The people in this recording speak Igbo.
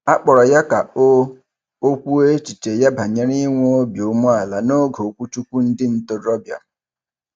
A kpọrọ ya ka o o kwuo echiche ya banyere inwe obi umeala n'oge okwuchukwu ndị ntorobịa.